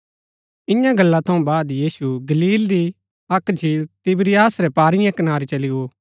इआं गल्ला थऊँ बाद यीशु गलील री अक्क झील तिबिरियास रै पारीयें कनारै चली गो